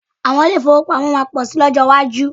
Àwọn ilé ìfowópamọ́ máa pọ̀ síi ní ọkọ iwájú